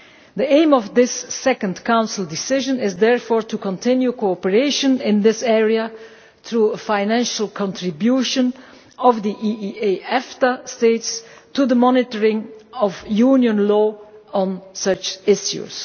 The aim of this second Council decision is therefore to continue cooperation in this area through a financial contribution by the EEA EFTA states to the monitoring of Union law on such issues.